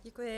Děkuji.